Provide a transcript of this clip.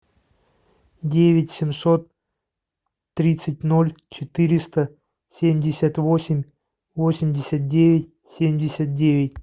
девять семьсот тридцать ноль четыреста семьдесят восемь восемьдесят девять семьдесят девять